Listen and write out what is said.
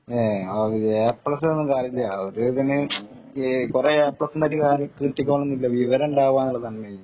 A plus കൊണ്ടൊന്നും കാര്യമില്ല കുറെ എ പ്ലസ് കൊണ്ട് കിട്ടിക്കോളണമെന്നില്ല വിവരമുണ്ടാക്കുക എന്നുള്ളതാണ് മെയിന്‍